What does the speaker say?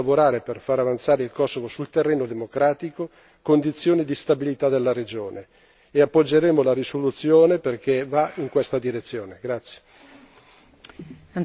In definitiva credo che sia necessario lavorare per far avanzare il Kosovo sul terreno democratico, condizione di stabilità della regione, e appoggeremo la risoluzione perché va in questa direzione.